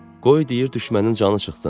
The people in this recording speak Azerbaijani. Qoy deyir düşmənin canı çıxsın.